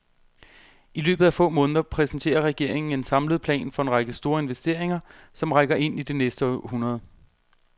I løbet af få måneder præsenterer regeringen en samlet plan for en række store investeringer, som rækker ind i det næste århundrede.